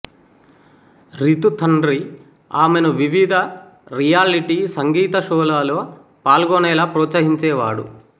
రితు తండ్రి ఆమెను వివిధ రియాలిటీ సంగీత షోలలో పాల్గొనేలా ప్రోత్సహించేవాడు